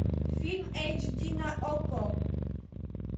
фильм эйч ди на окко